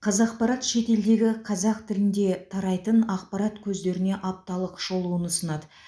қазақпарат шетелдегі қазақ тілінде тарайтын ақпарат көздеріне апталық шолуын ұсынады